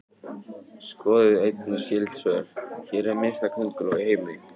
Skoðið einnig skyld svör: Hver er minnsta könguló í heimi?